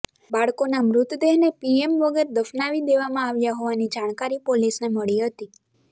બાળકોના મૃતદેહને પીએમ વગર દફનાવી દેવામાં આવ્યા હોવાની જાણકારી પોલીસને મળી હતી